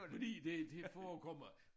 Fordi det det forekommer